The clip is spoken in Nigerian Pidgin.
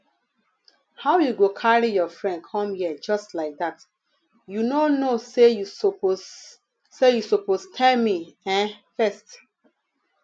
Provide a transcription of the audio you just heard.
um how you go carry your friend come here just like dat you no know say you suppose say you suppose tell me um first